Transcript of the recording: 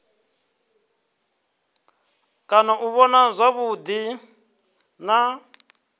kona u vhona zwavhuḓi na